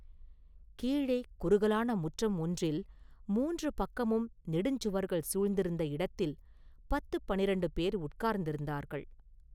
கீழே குறுகலான முற்றம் ஒன்றில், மூன்று பக்கமும் நெடுஞ் சுவர்கள் சூழ்ந்திருந்த இடத்தில் பத்துப் பன்னிரண்டு பேர் உட்கார்ந்திருந்தார்கள்.